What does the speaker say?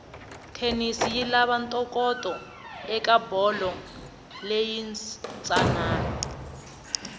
tennis yilava ntokoto ekabholo leyinsanani